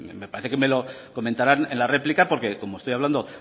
me parece que me lo comentarán en la réplica porque como estoy hablando